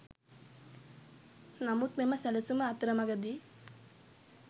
නමුත් මෙම සැලසුම අතරමගදී